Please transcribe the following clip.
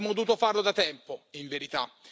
Avremmo dovuto farlo da tempo, in verità.